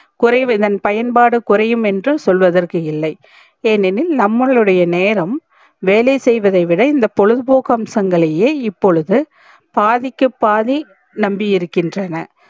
குறைவதன் பயன் பாடு குறையும் என்று சொல்வதற்க்கு இல்லை ஏனெனில் நம்பலுடைய நேரம் வேலை செய்வதை விட இந்த பொழுது போக்கு அம்சங்களையே இப்பொழுது பாதிக்கு பாதி நம்பி இருகின்றன